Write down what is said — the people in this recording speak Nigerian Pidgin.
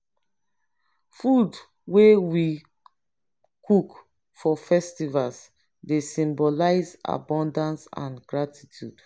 food wey we cook for festivities dey symbolize abundance and gratitude.